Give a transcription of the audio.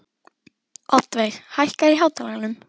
Oddveig, hækkaðu í hátalaranum.